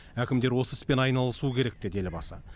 әкімдер осы іспен айналысуы керек деді елбасы